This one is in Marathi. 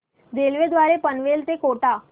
रेल्वे द्वारे पनवेल ते कोटा